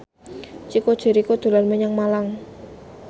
Chico Jericho dolan menyang Malang